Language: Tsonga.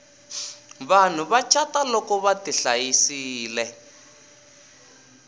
vanhu va cata loko vati hlayisile